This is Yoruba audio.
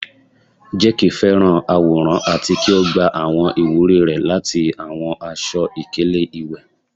Jake fẹràn aworan ati ki o gba awọn iwuri rẹ lati awọn aṣọ-ikele iwẹ